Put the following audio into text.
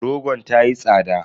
Rogon ta yi tsada.